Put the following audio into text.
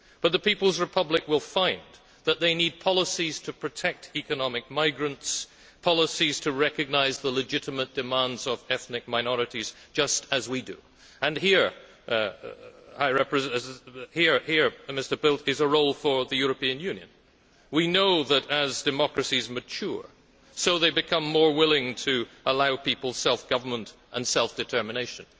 But the People's Republic will find that it needs policies to protect economic migrants, policies to recognise the legitimate demands of ethnic minorities, just as we do. Here, Mr Bildt, is a role for the European Union. We know that as democracies mature, so they become more willing to allow people self government and self determination.